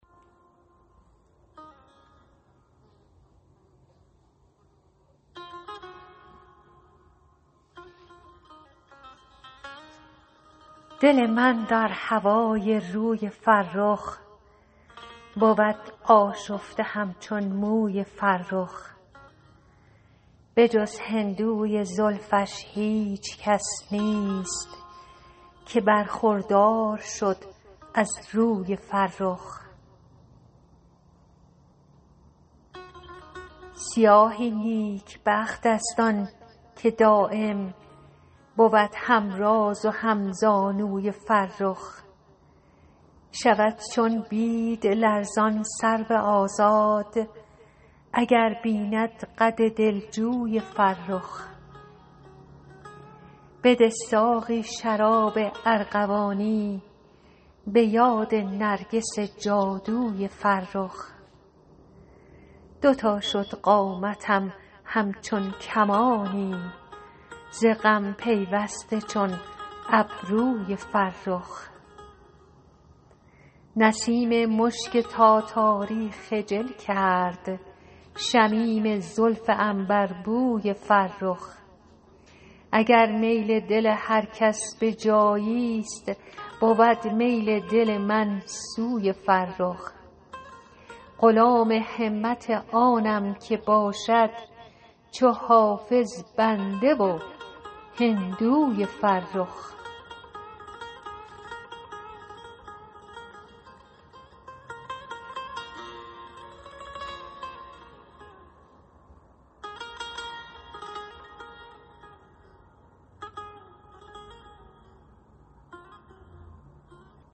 دل من در هوای روی فرخ بود آشفته همچون موی فرخ به جز هندوی زلفش هیچ کس نیست که برخوردار شد از روی فرخ سیاهی نیکبخت است آن که دایم بود هم راز و هم زانوی فرخ شود چون بید لرزان سرو آزاد اگر بیند قد دلجوی فرخ بده ساقی شراب ارغوانی به یاد نرگس جادوی فرخ دو تا شد قامتم همچون کمانی ز غم پیوسته چون ابروی فرخ نسیم مشک تاتاری خجل کرد شمیم زلف عنبربوی فرخ اگر میل دل هر کس به جایی ست بود میل دل من سوی فرخ غلام همت آنم که باشد چو حافظ بنده و هندوی فرخ